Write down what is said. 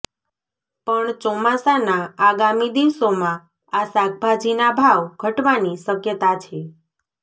પણ ચોમાસાના આગામી દિવસોમાં આ શાકભાજીના ભાવ ઘટવાની શક્યતા છે